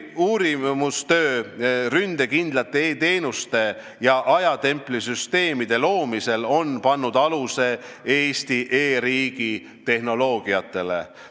Uurimistöö ründekindlate e-teenuste ja ajatemplisüsteemide loomisel on pannud aluse Eesti e-riigi tehnoloogiatele.